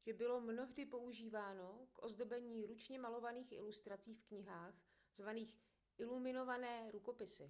že bylo mnohdy používáno k ozdobení ručně malovaných ilustrací v knihách zvaných iluminované rukopisy